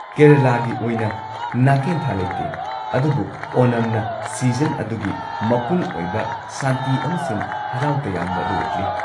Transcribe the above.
ꯀꯦꯔꯂꯥꯒꯤ ꯑꯣꯏꯅ ꯅꯥꯀꯦꯟꯊꯥ ꯂꯩꯇꯦ, ꯑꯗꯨꯕꯨ ꯑꯣꯅꯝꯅ ꯁꯤꯖꯟ ꯑꯗꯨꯒꯤ ꯃꯄꯨꯡ ꯑꯣꯏꯕ ꯁꯥꯟꯇꯤ ꯑꯃꯁꯨꯡ ꯍꯔꯥꯎ ꯇꯌꯥꯝꯕ ꯑꯗꯨ ꯎꯠꯂꯤ꯫